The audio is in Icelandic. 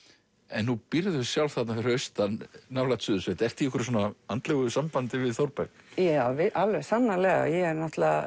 en nú býrðu sjálf þarna fyrir austan nálægt Suðursveit ertu í einhverju svona andlegu sambandi við Þórberg já alveg sannarlega ég er